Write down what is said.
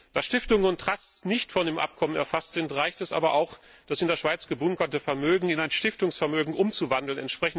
Da Stiftungen und Trusts nicht von dem Abkommen erfasst sind, reicht es aber auch, das in der Schweiz gebunkerte Vermögen in ein Stiftungsvermögen umzuwandeln.